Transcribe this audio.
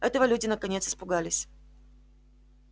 этого люди наконец испугались